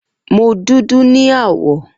Mo dudu ni awọ.